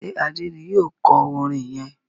ṣe Ade ní yíò kò orin yén?